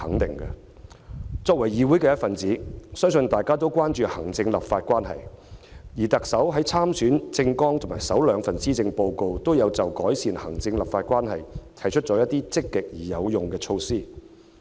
身為議會一分子，相信大家也關注行政立法關係，而特首在參選政綱及首兩份施政報告中，均有就改善行政立法關係提出一些積極而有用的措施。